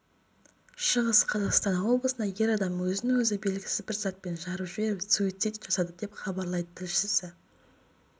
шығыс қазақстан облысында ер адам өзін-өзі белгісіз бір затпен жарып жіберіп суицид жасады деп хабарлайды тілшісі